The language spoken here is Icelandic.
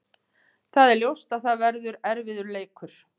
Það er ljóst að það verður erfiður leikur.